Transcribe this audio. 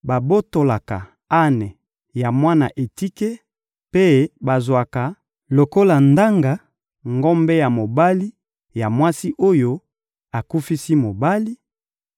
babotolaka ane ya mwana etike mpe bazwaka lokola ndanga ngombe ya mobali ya mwasi oyo akufisi mobali;